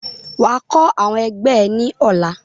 Wà á kọ́ àwọn ẹgbẹ́ ẹ̀ ní ọ̀la!